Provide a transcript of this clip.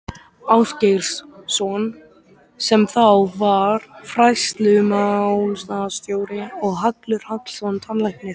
Ásgeirs- son sem þá var fræðslumálastjóri og Hallur Hallsson tannlæknir.